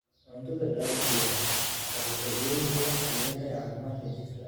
Cuntada dabiiciga ahi waxay faa'iidooyin badan u leedahay caafimaadka jidhka.